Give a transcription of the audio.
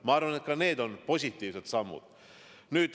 Ma arvan, et needki on positiivsed sammud.